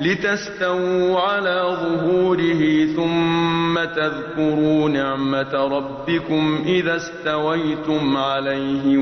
لِتَسْتَوُوا عَلَىٰ ظُهُورِهِ ثُمَّ تَذْكُرُوا نِعْمَةَ رَبِّكُمْ إِذَا اسْتَوَيْتُمْ عَلَيْهِ